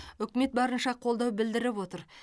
үкімет барынша қолдау білдіріп отыр